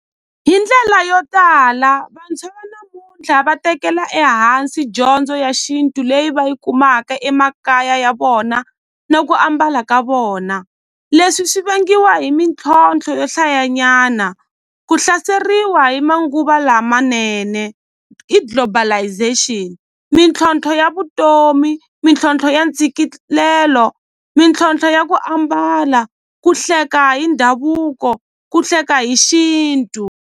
Hi ndlela yo tala vantshwa va namuntlha va tekela ehansi dyondzo ya xintu leyi va yi kumaka emakaya ya vona na ku ambala ka vona leswi swi vangiwa hi mintlhontlho yo hlayanyana ku hlaseriwa hi manguva lamanene hi globalisation mintlhontlho ya vutomi mintlhontlho ya ntshikilelo mintlhontlho ya ku ambala ku hleka hi ndhavuko ku hleka hi xintu.